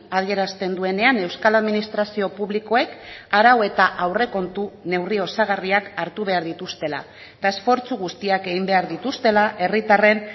adierazten duenean euskal administrazio publikoek arau eta aurrekontu neurri osagarriak hartu behar dituztela eta esfortzu guztiak egin behar dituztela herritarren